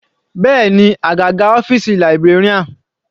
Bẹ́ẹ̀ni, àgàgà ọ́fìsì librarian.